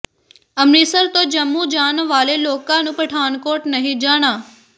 ਅੰਮ੍ਰਿਤਸਰ ਤੋਂ ਜੰਮੂ ਜਾਣ ਵਾਲੇ ਲੋਕਾਂ ਨੂੰ ਪਠਾਨਕੋਟ ਨਹੀਂ ਜਾਣਾ